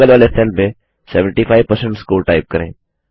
बगल वाले सेल में 75 स्कोर टाइप करें